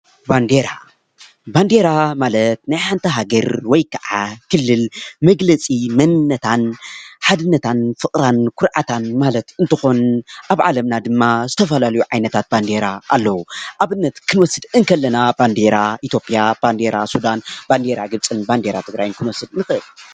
ባንዴራ ማለት ናይ ሓንቲ ሃገረ ወይከዓ ክልል መግለፂ መንነታን ሓድነታን ፍቅራን ኩርዓታን ማለት እንትኾን ኣብ ዓለምና ድማ ዝተፈላለዩ ዓይነታት ባንዴራ ኣለዉ። ኣብነት ክንወስድ ከለና ባንዴራ ኢትዮጵያ፣ ባንዴራ ሱዳን ፣ባንዴራ ግብጺን ባንዴራ ትግራይን ክንወስድ ንኽእል።